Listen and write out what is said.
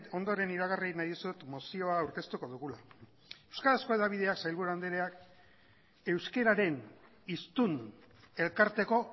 ondoren iragarri nahi dizut mozioa aurkeztuko dugula euskarazko hedabideak sailburu andreak euskararen hiztun elkarteko